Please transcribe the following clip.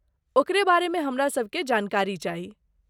ओकरे बारेमे हमरासभकेँ जानकारी चाही।